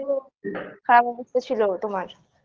খারাপ অবস্থা ছিলো তোমার